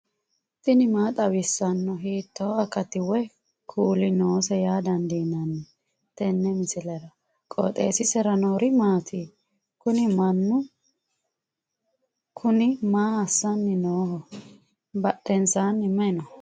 tini maa xawissanno ? hiitto akati woy kuuli noose yaa dandiinanni tenne misilera? qooxeessisera noori maati? kuni mannu kuni maa assanni nooho badhensaanni mayi no